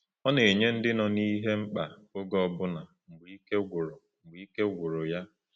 Ọ na-enye ndị nọ n’ihe mkpa oge ọbụna mgbe ike gwụrụ mgbe ike gwụrụ ya.